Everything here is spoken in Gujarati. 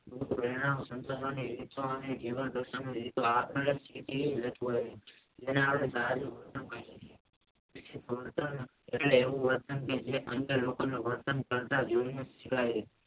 પ્રેરણા સન્ચવાની રીતો અને જીવન પોતાની રીતો